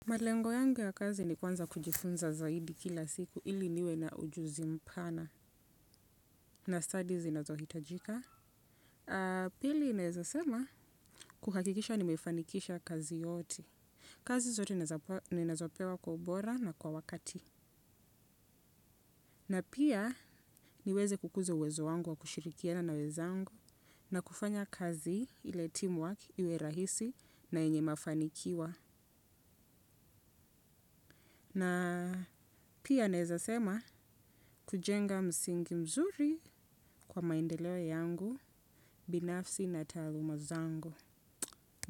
Malengo yangu ya kazi ni kwanza kujifunza zaidi kila siku ili niwe na ujuzi mpana. Na stadi zinazohitajika. Pili naezasema kuhakikisha ni mefanikisha kazi yote. Kazi zote ninazopewa kwa ubora na kwa wakati. Na pia niweze kukuza uwezo wangu wa kushirikiana na wezangu. Nakufanya kazi ile teamwork iwe rahisi na yenye mafanikiwa. Na pia naeza sema kujenga msingi mzuri kwa maendeleo yangu binafsi na taluma zangu.